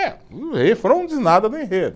É, o refrão não diz nada do enredo.